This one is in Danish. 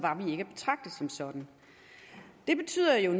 sådan det betyder jo